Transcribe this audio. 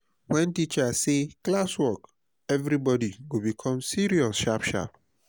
wen teacher say "classwork" everybody go become serious sharp sharp.